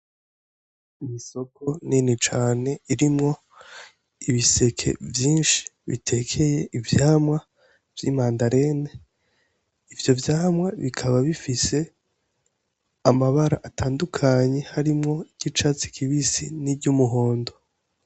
Ni isoko nini cane irimwo ibiseke vyinshi bitekeye ivyamwa vy'imandarine, ivyo vyamwa bikaba bifise amabara atandukanye harimwo iry'icatsi kibisi n'iryumuhondo.